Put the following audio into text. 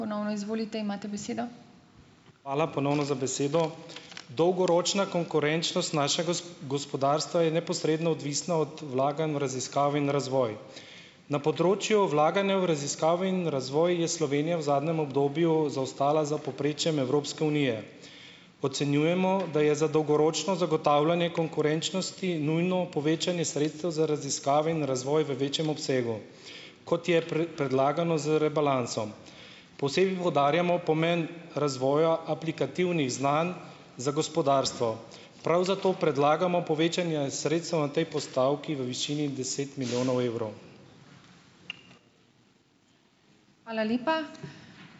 Ponovno izvolite, imate besedo. Hvala ponovno za besedo . Dolgoročna konkurenčnost našega gospodarstva je neposredno odvisna od vlaganj v raziskave in razvoj. Na področju vlaganja v raziskave in razvoj je Slovenija v zadnjem obdobju zaostala za povprečjem Evropske unije. Ocenjujemo, da je za dolgoročno zagotavljanje konkurenčnosti nujno povečanje sredstev za raziskave in razvoj v večjem obsegu, kot je predlagano z rebalansom. Posebej poudarjamo pomen razvoja aplikativnih znanj za gospodarstvo. Prav zato predlagamo povečanje sredstev na tej postavki v višini deset milijonov evrov. Hvala lepa.